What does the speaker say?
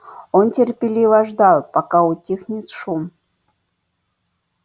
он терпеливо ждал пока утихнет шум